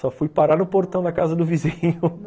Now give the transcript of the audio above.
Só fui parar no portão da casa do vizinho.